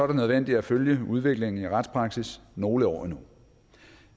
det nødvendigt at følge udviklingen i retspraksis nogle år endnu